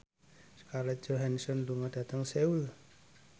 Scarlett Johansson lunga dhateng Seoul